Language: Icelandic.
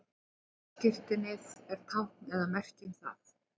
ökuskírteinið er tákn eða merki um það